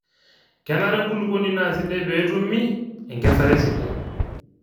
kenare enkulukuoni naa sidai peetumi enkesare sidai